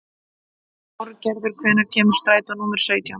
Þorgerður, hvenær kemur strætó númer sautján?